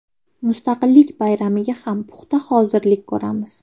Mustaqillik bayramiga ham puxta hozirlik ko‘ramiz.